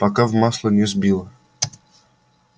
пока в масло не сбила